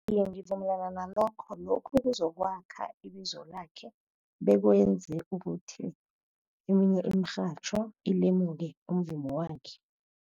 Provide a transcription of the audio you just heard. Iye, ngivumelana nalokho. Lokhu kuzokwakha ibizo lakhe, bekwenze ukuthi eminye imirhatjho ilemuke umvumo wakhe.